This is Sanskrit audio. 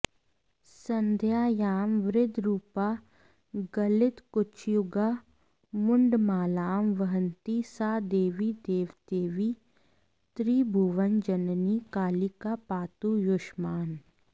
सन्ध्यायां वृद्धरूपा गलितकुचयुगा मुण्डमालां वहन्ती सा देवी देवदेवी त्रिभुवनजननी कालिका पातु युष्मान्